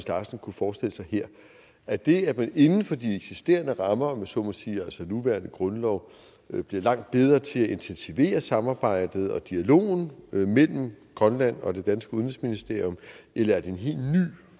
larsen kunne forestille sig her er det at man inden for de eksisterende rammer om jeg så må sige altså den nuværende grundlov bliver langt bedre til at intensivere samarbejdet og dialogen mellem grønland og det danske udenrigsministerium eller er det en helt ny